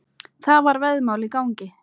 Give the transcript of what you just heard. Það var veðmál í gangi.